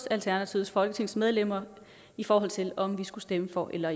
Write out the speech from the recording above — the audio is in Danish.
alternativets folketingsmedlemmer i forhold til om vi skulle stemme for eller